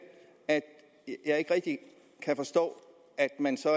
jeg ikke rigtig kan forstå at man